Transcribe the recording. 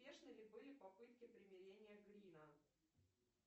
успешны ли были попытки примирения грина